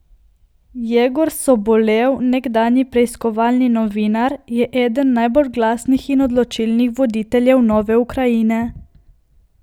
Jegor Sobolev, nekdanji preiskovalni novinar, je eden najbolj glasnih in odločnih voditeljev nove Ukrajine.